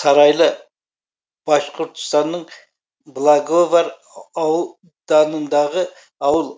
сарайлы башқұртстанның благовар ауданындағы ауыл